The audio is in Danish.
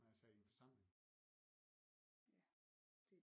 Jeg sagde i en forsamling